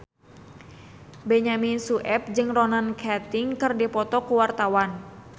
Benyamin Sueb jeung Ronan Keating keur dipoto ku wartawan